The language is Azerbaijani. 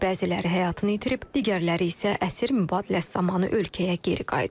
Bəziləri həyatını itirib, digərləri isə əsir mübadiləsi zamanı ölkəyə geri qayıdıb.